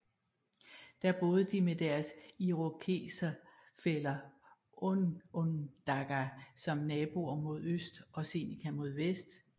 Der boede de med deres irokeserfæller onondaga som naboer mod øst og seneca mod vest